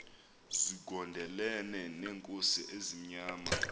zigondelene neenkosi ezimnyama